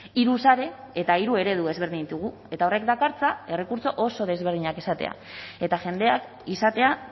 hiru sare eta hiru eredu ezberdin ditugu eta horrek dakartza errekurtso oso desberdinak izatea eta jendeak izatea